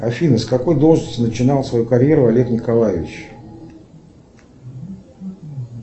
афина с какой должности начинал свою карьеру олег николаевич